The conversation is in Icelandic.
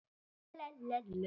Var það og gert.